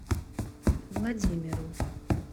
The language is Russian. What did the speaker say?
владимиру